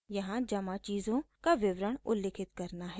यहाँ जमा चीज़ों का विवरण उल्लिखित करना है